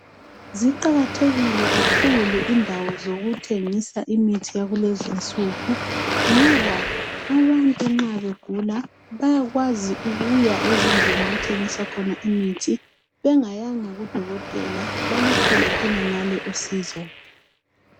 Ziqakathekile kakhulu indawo zokuthengisa imithi yakulezinsuku ngoba abantu nxa begula bayakwazi ukuya ezindlini okuthengiswa khona imithi. Bengayanga kudokotela baluthole khonangale usizo.